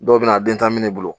Dɔw bɛ na a den tan minɛ ne bolo.